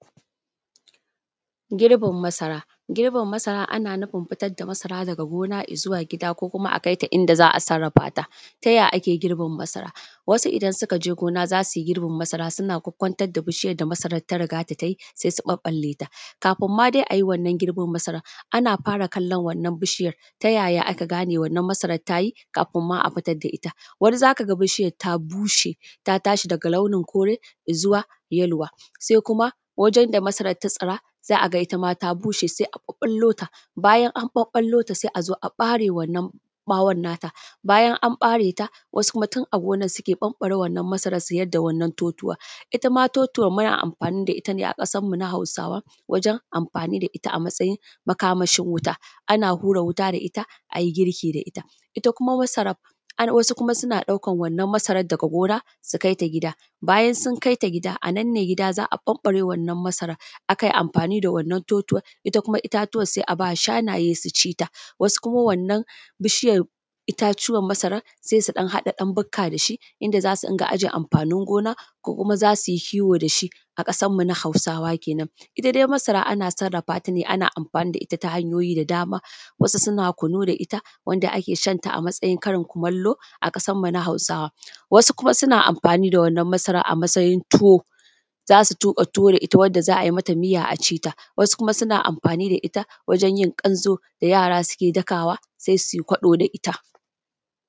Girbin masara. Girbin masara ana nufin fitar da masara daga gona zuwa gida ko kuma a kai ta inda za a sarrafa ta. Ta ya ake girbin masara? Wasu idan suka je gona za su yi girbin masara suna kwakkwantar da bishiyar da masarad da ta riga da ta yi, sai su ɓaɓɓalleta. Kafin ma dai a yi wannan girbin masaran, ana fara kallon wannan bishiyar, ta ya aka gane wannan masaran ta yi kafin ma a fitad da ita. Wani za ka ga bishiyar ta bushe ta tashi daga launin kore izuwa yaluwa, sai kuma wajen da masara ta tsira za a ga ita ma ta bushe sai a ɓaɓɓallota, bayan an ɓaɓɓallota sai a zo a ɓare wannan ɓawon na ta, bayan an ɓare ta, wasu kuma tun a gonan su ɓamɓare wannan masaran su yadda wannan totuwan. Ita ma totuwan muna amfani da ita ne a ƙasanmu na Hausawa wajen amfani da ita a matsayin makamashi wuta, ana hura wuta da ita a yi girki da ita. Ita kuma masaran, wasu kuma suna ɗaukan wannan masarad daga gona su kai ta gida, bayan sun kai ta gida, a nan ne gida za a ɓamɓare wannan masaran, aka yi amfani da wannan totuwan, ita kuma itatuwan sai a ba shanaye su ci ta. Wasu kuma wannan bishiyan, itatuwan masaran sai su ɗan haɗa ɗan bukka da shi, inda za su dinga aje amfanin gona ko kuma za su yi kiwo da shi, a ƙasanmu na Hausawa kenan. Ita dai masara ana sarrafata ne ana amfani da ita ta hanyoyi da dama, wasu suna kunu da ita, wanda ake shanta a matsayin karin kumallo a ƙasanmu na Hausawa, wasu kuma suna amfani da wannan masaran a matsayin tuwo, za su tuƙa tuwo da ita wanda za a mata miya a ci ta, wasu kuma suna amfani da ita wajen yin ƙanzo da yara suke dakawa sai su yi kwaɗo da ita.